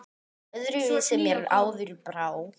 Öðru vísi mér áður brá.